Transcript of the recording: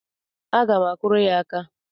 Aga m akụrụ ya aka.